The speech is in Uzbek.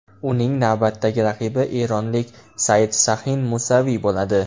Uning navbatdagi raqibi eronlik Saidshahin Musaviy bo‘ladi.